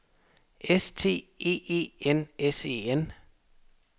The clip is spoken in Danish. S T E E N S E N